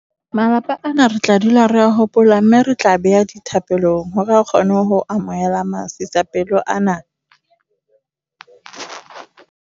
Malapa ana re tla dula re a hopola mme re tla a beha le dithapelong hore a kgone ho amohela masisapelo ana.